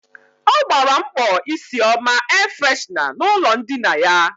Ọ gbara mkpọ isi ọma air freshna n' ụlọ ndina ya.